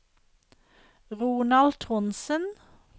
Ronald Trondsen